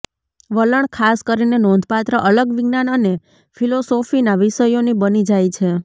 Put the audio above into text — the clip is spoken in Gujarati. વલણ ખાસ કરીને નોંધપાત્ર અલગ વિજ્ઞાન અને ફિલોસોફીના વિષયોની બની જાય છે